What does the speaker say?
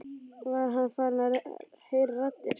Var hann farinn að heyra raddir?